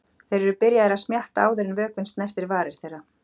Þeir eru byrjaðir að smjatta áður en vökvinn snertir varir þeirra.